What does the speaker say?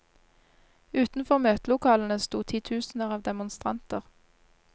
Utenfor møtelokalene sto titusener av demonstranter.